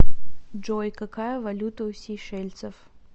джой какая валюта у сейшельцев